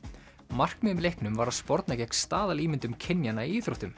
markmiðið með leiknum var að sporna gegn staðalímyndum kynjanna í íþróttum